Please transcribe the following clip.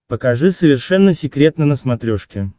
покажи совершенно секретно на смотрешке